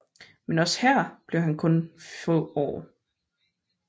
Men også her blev han kun få år